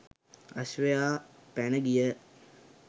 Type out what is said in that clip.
අශ්වයා පැන ගිය